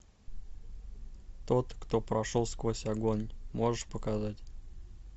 тот кто прошел сквозь огонь можешь показать